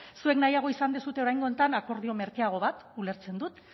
zuek nahiago izan duzue oraingo honetan akordio merkeago bat ulertzen dut